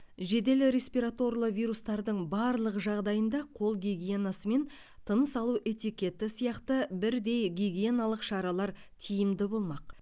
жедел респираторлы вирустардың барлық жағдайында қол гигиенасы мен тыныс алу этикеті сияқты бірдей гигиеналық шаралар тиімді болмақ